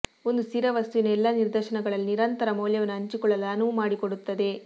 ಒಂದು ಸ್ಥಿರ ವಸ್ತುವಿನ ಎಲ್ಲಾ ನಿದರ್ಶನಗಳಲ್ಲಿ ನಿರಂತರ ಮೌಲ್ಯವನ್ನು ಹಂಚಿಕೊಳ್ಳಲು ಅನುವು ಮಾಡಿಕೊಡುತ್ತದೆ